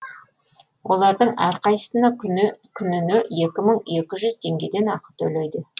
олардың әрқайсысына күніне екі мың екі жүз теңгеден ақы төлейді